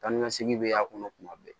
Taa ni ka segin bɛ y'a kɔnɔ tuma bɛɛ